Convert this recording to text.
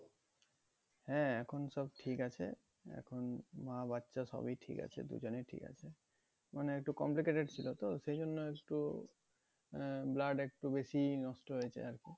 হ্যাঁ এখন সব ঠিক আছে এখন মা বাচ্চা সবই ঠিক আছে দুজনেই ঠিক আছে মানে একটু complicated ছিল তো সেই জন্য একটু আহ blood একটু বেশি নষ্ট হয়েছে আর কি